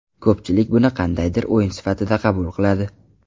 Ko‘pchilik buni qandaydir o‘yin sifatida qabul qiladi.